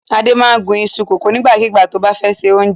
Adé máa ń gún iṣu kòkó nígbàkigbà tó bá fẹ́ se oúnjẹ.